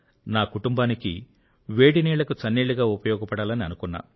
నా కుటుంబానికి వేడినీళ్ళకు చన్నీళ్ళుగా ఉపయోగపడాలని అనుకున్నా